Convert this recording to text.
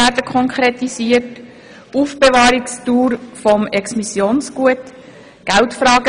die Aufbewahrungsdauer des Exmissionsgutes;